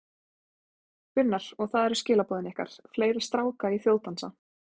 Gunnar: Og það eru skilaboðin ykkar, fleiri stráka í þjóðdansa?